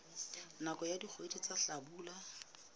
nakong ya dikgwedi tsa hlabula